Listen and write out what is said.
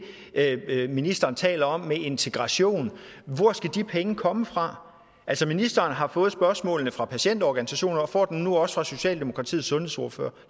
ministeren taler om med integration hvor skal de penge komme fra altså ministeren har fået spørgsmålene fra patientorganisationer og får dem nu også fra socialdemokratiets sundhedsordfører